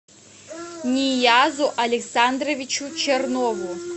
ниязу александровичу чернову